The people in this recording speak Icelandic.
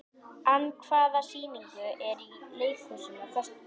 Ann, hvaða sýningar eru í leikhúsinu á föstudaginn?